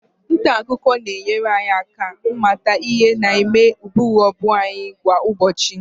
nta akụkọ na-enyere anyị aka ịmata ihe na-eme gburugburu anyị kwa ụbọchị